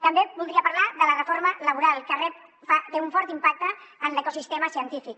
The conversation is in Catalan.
també voldria parlar de la reforma laboral que té un fort impacte en l’ecosistema científic